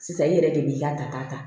Sisan i yɛrɛ de b'i ka ta ta ta